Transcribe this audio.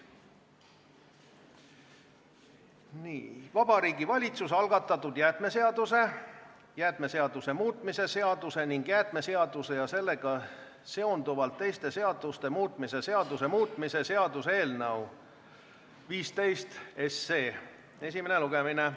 Järgmine punkt on Vabariigi Valitsuse algatatud jäätmeseaduse, jäätmeseaduse muutmise seaduse ning jäätmeseaduse ja sellega seonduvalt teiste seaduste muutmise seaduse muutmise seaduse eelnõu 15 esimene lugemine.